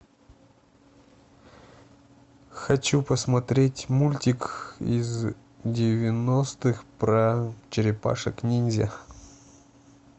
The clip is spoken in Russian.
хочу посмотреть мультик из девяностых про черепашек ниндзя